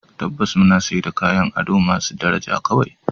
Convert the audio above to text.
Tabbas! muna sayar da kayan ado masu daraja kawai